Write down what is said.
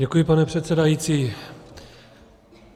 Děkuji, pane předsedající.